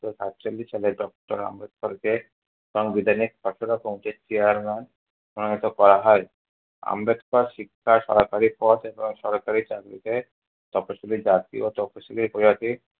ঊনিশশো সাতচল্লিশ সালে আম্বেদকরকে সংবিধানের খসড়া committee chairman মনোনীত করা হয়। আম্বেদকর শিক্ষা, সরকারি পদ এবং সরকারি চাকরিতে তপশীলি জাতি ও তপশীলি উপজাতি